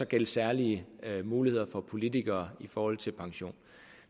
gælde særlige muligheder for politikere i forhold til pension